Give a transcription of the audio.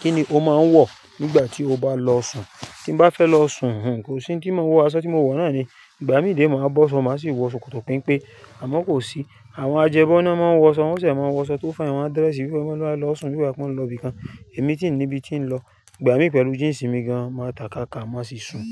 Kíni o máa ń wọ̀ nígbà tí o bá lọ sùn? Tí mo bá fẹ́ lọ sùn, kò sí ntin mo wọ aṣọ tí mo wọ̀ náà ni. Ìgbà mí dẹ̀ máa bọ́ ṣọ, màá sì wọ ṣòkòtò penpé àmọ́ kò sí. Àwọn ajẹbọ́na máa ń wọ ṣọ, wọ́n sì máa ń wọ aṣọ tó fà in wọ̀n a dirẹsi bí wọ́n bá lọ sùn bí gbátí wọ́n lọ ibìkan. Èmi ti ń níbi ti ń lọ. Ìgbà mí pẹ̀lú jíǹsì mi gan máa takaka má sì sùn.